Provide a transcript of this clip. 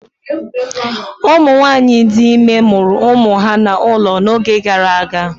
Ụmụ nwanyị dị ime mụrụ ụmụ ha n'ụlọ n'oge gara aga.